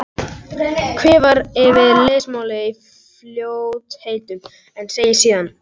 Hvimar yfir lesmálið í fljótheitum en segir síðan